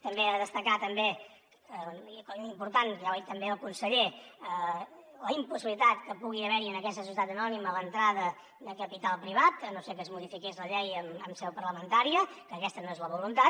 també a destacar també per important ja ho ha dit també el conseller la impossibilitat que pugui haverhi en aquesta societat anònima l’entrada de capital privat a no ser que es modifiqués la llei en seu parlamentària que aquesta no és la voluntat